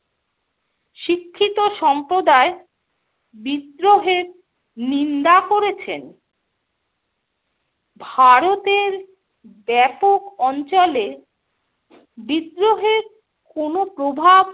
শিক্ষিত সম্প্রদায় বিদ্রোহের নিন্দা করেছেন। ভারতের ব্যাপক অঞ্চলে বিদ্রোহের কোনো প্রভাব